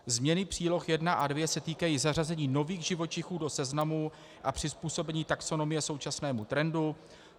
Změny příloh I a II se týkají zařazení nových živočichů do seznamu a přizpůsobení taxonomie současnému trendu.